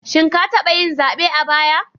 Shin ka taba yin zabe a baya?